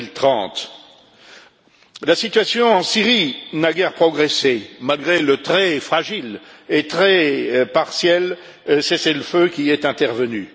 2030. La situation en Syrie n'a guère progressé, malgré le très fragile et très partiel cessez le feu qui est intervenu.